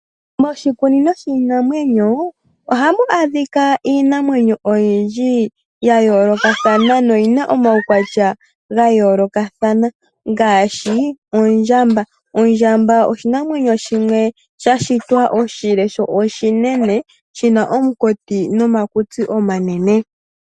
Moshikunino shiinamwenyo ohamu adhika iinamwenyo oyindji yayolokathana noyina omaukwatya gayoolokathana. Ngaashi ondjamba, oondjamba oshinamwenyo shimwe shashitwa oshile sho oshinene, shina omukati nomakutsi omanene.